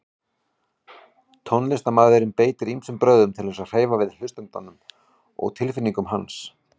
Tónlistarmaðurinn beitir ýmsum brögðum til að hreyfa við hlustandanum og tilfinningum hans.